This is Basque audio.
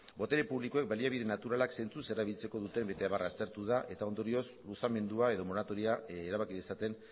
botere publikoek baliabide naturalak zentzuz erabiltzeko duten bete beharra aztertu da eta ondorioz luzamendua edo moratoria erabaki dezaten